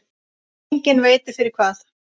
Enginn veit fyrir hvað.